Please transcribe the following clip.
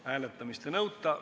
Hääletamist ei nõuta.